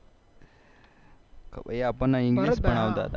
એ આપણ ને ENGLISH ભણાવતા